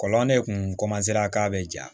Kɔlɔn de tun k'a bɛ ja